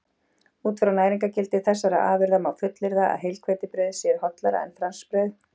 Út frá næringargildi þessara afurða má fullyrða að heilhveitibrauð sé hollara en franskbrauð.